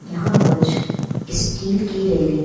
यहाँ कुछ स्टील की रेलिंग --